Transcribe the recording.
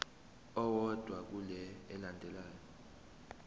owodwa kule elandelayo